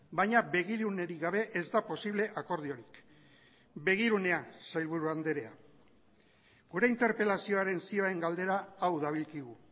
baina begirunerik gabe ez da posible akordiorik begirunea sailburu andrea gure interpelazioaren zioen galdera hau dabilkigu